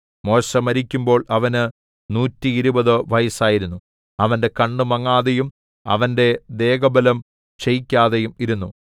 മോശെ മരിക്കുമ്പോൾ അവന് നൂറ്റിയിരുപത് വയസ്സായിരുന്നു അവന്റെ കണ്ണ് മങ്ങാതെയും അവന്റെ ദേഹബലം ക്ഷയിക്കാതെയും ഇരുന്നു